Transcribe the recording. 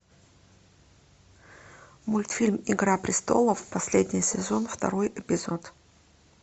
мультфильм игра престолов последний сезон второй эпизод